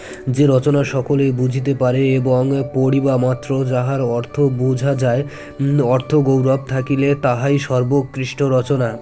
যে রচনা সকলেই বুঝতে পারে এবং পরি বা মাত্র যাহার অর্থ বোঝা যায় অর্থ গৌরব থাকিলে তাহাই সর্বোকৃষ্ঠ রচনা